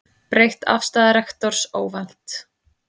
Breytt afstaða rektors óvænt